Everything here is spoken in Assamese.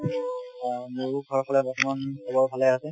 হয় মোৰো ঘৰৰ ফালে বৰ্তমান চবৰ ভালে আছে